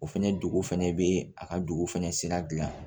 O fɛnɛ dugu fɛnɛ bee a ka dugu fɛnɛ sira gilan